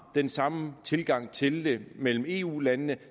den samme tilgang til det mellem eu landene